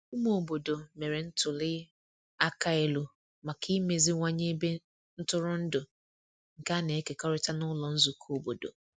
Ụmụ obodo mere ntuli aka elu maka imeziwanye ebe ntụrụndụ nke a na-ekekọrịta n’ụlọ nzukọ obodo.